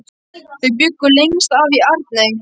Þau bjuggu lengst af í Arney.